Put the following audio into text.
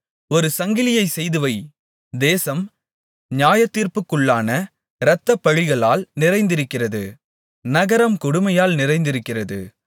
ஒரு சங்கிலியை செய்துவை தேசம் நியாயத்தீர்ப்புக்குள்ளான இரத்தப்பழிகளால் நிறைந்திருக்கிறது நகரம் கொடுமையால் நிறைந்திருக்கிறது